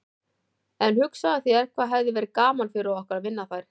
En hugsaðu þér hvað hefði verið gaman fyrir okkur að vinna þær.